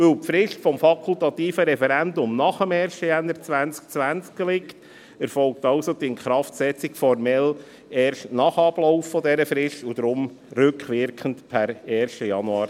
Weil die Frist des fakultativen Referendums nach dem 1. Januar 2020 liegt, erfolgt also die Inkraftsetzung formell erst nach Ablauf dieser Frist, deshalb also «rückwirkend» per 1. Januar 2020.